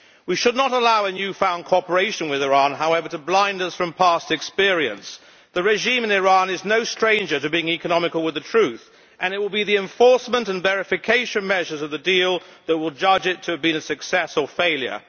We should not allow a new found cooperation with Iran, however, to blind us from past experience. The regime in Iran is no stranger to being economical with the truth, and it will be the enforcement and verification measures of the deal that will judge it to have been a success or failure.